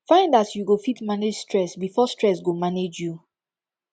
find as yu go fit manage stress bifor stress go manage yu